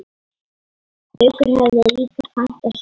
Haukur hafði líka pantað súpu.